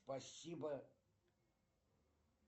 спасибо